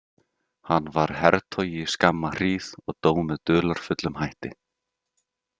Hann var hertogi í skamma hríð og dó með dularfullum hætti.